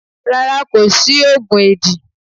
Rárá, kò sí oògùn éèdì.